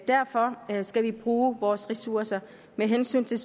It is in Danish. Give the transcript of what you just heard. derfor skal vi bruge vores egne ressourcer med hensyn til